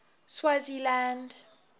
swaziland